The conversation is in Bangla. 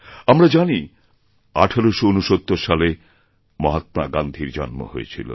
আমরা জানি যে১৮৬৯ সালে মহাত্মা গান্ধীর জন্ম হয়েছিল